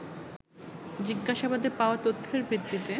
জিজ্ঞাসাবাদে পাওয়া তথ্যের ভিত্তিতে